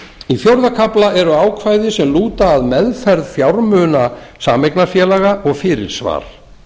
í fjórða kafla eru ákvæði sem lúta að meðferð fjármuna sameignarfélaga og fyrirsvar